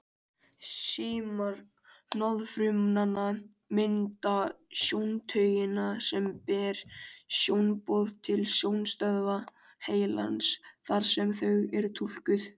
Símar hnoðfrumnanna mynda sjóntaugina sem ber sjónboð til sjónstöðva heilans þar sem þau eru túlkuð.